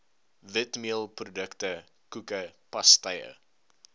witmeelprodukte koeke pastye